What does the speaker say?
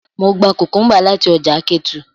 Mo gba cucumbers lati ọja Ketu.